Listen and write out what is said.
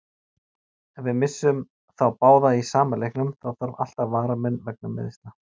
Ef við missum þá báða í sama leiknum, þá þarf alltaf varamann vegna meiðsla.